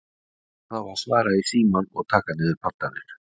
Hver á þá að svara í símann og taka niður pantanir?